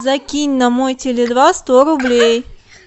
закинь на мой теле два сто рублей